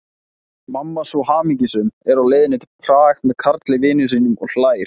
Mamma svo hamingjusöm, er á leið til Prag með Karli vini sínum, og hlær.